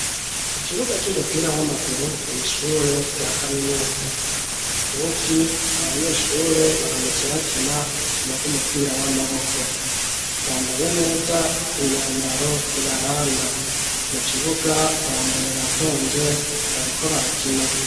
Ikibuga c'umupira w'amaguru mu ishure ya kaminuza uyu munsi abanyeshure baramutse bakina urukino rw'umupira w'amaboko bambaye neza inyambaro ibaranga mu kibuga bambaye batonze bariko barakina